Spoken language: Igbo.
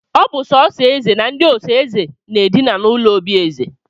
Ọ bụ sọọsọ eze na ndị ọsọ eze na-edina n'ụlọ obi eze